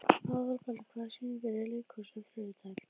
Aðalberg, hvaða sýningar eru í leikhúsinu á þriðjudaginn?